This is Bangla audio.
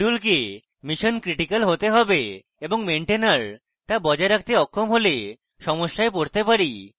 module কে missioncritical হতে হবে এবং maintainer তা বজায় রাখতে অক্ষম হলে সমস্যায় পড়তে পারি